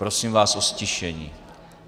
Prosím vás o ztišení.